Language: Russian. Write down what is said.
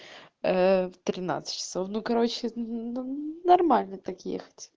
а в тринадцать часов ну короче нормально так ехать